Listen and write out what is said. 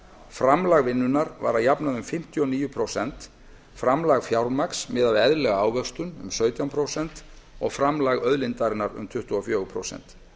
framlag vinnunnar var að jafnaði um fimmtíu og níu prósent framlag fjármagns miðað við eðlilega ávöxtun um sautján prósent og framlag auðlindarinnar um tuttugu og fjögur prósent